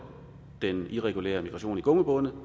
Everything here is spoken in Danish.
den irregulære migration i gummibåde